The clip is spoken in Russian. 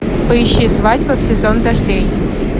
поищи свадьба в сезон дождей